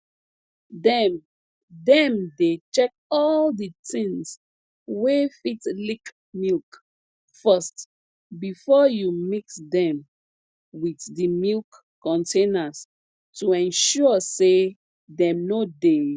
dem dem dey check all d tins wey fit leak milk first before you mix dem with the milk containers to ensure say dem no dey